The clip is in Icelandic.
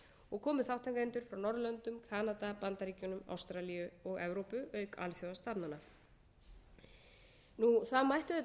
og komu þátttakendur frá norðurlöndum benda bandaríkjunum ástralíu og evrópu auk alþjóðastofnana það mætti auðvitað